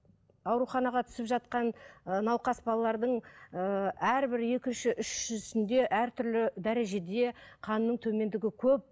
ауруханаға түсіп жатқан ыыы науқас балалардың ыыы әрбір екінші үшіншісінде әртүрлі дәрежеде қанның төмендігі көп